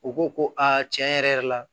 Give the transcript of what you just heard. U ko ko a tiɲɛ yɛrɛ yɛrɛ la